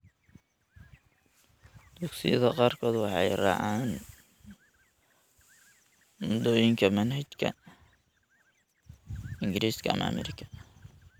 Dugsiyada qaarkood waxay raacaan moodooyinka manhajka Ingiriiska ama Ameerika.